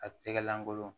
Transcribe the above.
A tɛgɛ lankolon